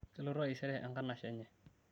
kelotu taisere enkanashe enye